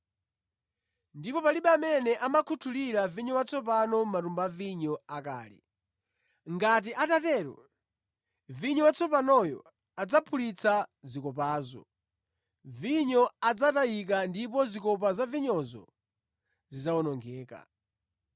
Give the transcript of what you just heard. Ndipo palibe amene amakhuthulira vinyo watsopano mʼmatumba a vinyo akale. Ngati atatero, vinyo watsopanoyo adzaphulitsa zikopazo, vinyo adzatayika ndipo zikopa za vinyozo zidzawonongeka.